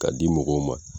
K'a di mɔgɔw ma